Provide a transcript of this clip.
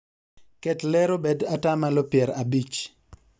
ket ler obed atamalo pier abich